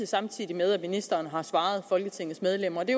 samtidig med at ministeren har svaret folketingets medlemmer og det